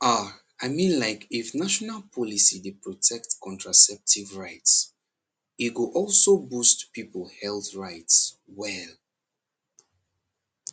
ah i mean like if national policy dey protect contraceptive rights e go also boost people health rights well